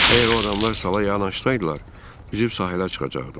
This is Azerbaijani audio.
Əgər o adamlar sala yanaşsaydılar, üzüb sahilə çıxacaqdım.